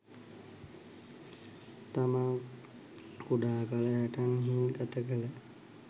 තමා කුඩා කල හැටන් හි ගත කළ